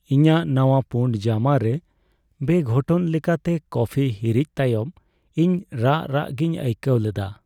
ᱤᱧᱟᱹᱜ ᱱᱟᱣᱟ ᱯᱩᱬ ᱡᱟᱢᱟ ᱨᱮ ᱵᱮᱼᱜᱷᱚᱴᱚᱱ ᱞᱮᱠᱟᱛᱮ ᱠᱚᱯᱷᱤ ᱦᱤᱨᱤᱡ ᱛᱟᱭᱚᱢ ᱤᱧ ᱨᱟᱜ ᱨᱟᱜ ᱜᱤᱧ ᱟᱹᱭᱠᱟᱹᱣ ᱞᱮᱫᱟ ᱾